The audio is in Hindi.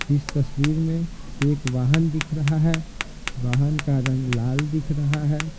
इस तस्वीर में एक वाहन दिख रहा है वाहन का रंग लाल दिख रहा है।